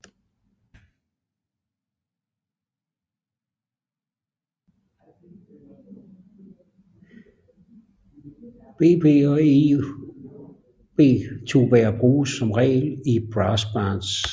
Bb og Eb tubaer bruges som regel i brassbands